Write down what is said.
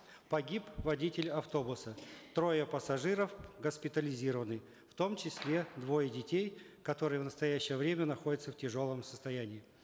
погиб водитель автобуса трое пассажиров госпитализированы в том числе двое детей которые в настоящее время находятся в тяжелом состоянии